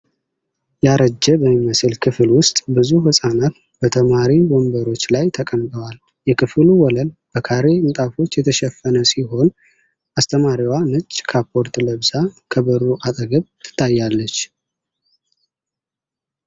ያረጀ በሚመስል ክፍል ውስጥ ብዙ ህፃናት በተማሪ ወንበሮች ላይ ተቀምጠዋል። የክፍሉ ወለል በካሬ ንጣፎች የተሸፈነ ሲሆን አስተማሪዋ ነጭ ካፖርት ለብሳ ከበሩ አጠገብ ትታያለች።